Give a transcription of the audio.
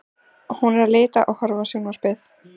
Hún er að lita og horfa á sjónvarpið.